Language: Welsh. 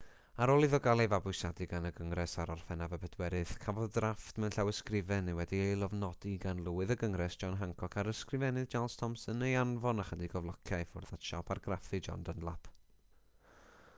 ar ôl iddo gael ei fabwysiadu gan y gyngres ar orffennaf 4 cafodd drafft mewn llawysgrifen wedi'i lofnodi gan lywydd y gyngres john hancock a'r ysgrifennydd charles thomson ei anfon ychydig o flociau i ffwrdd at siop argraffu john dunlap